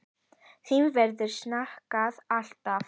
Þín verður saknað, alltaf.